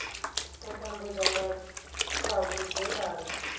u tambudza nga kha vhudzekani